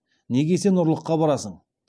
неге сен ұрлыққа барасың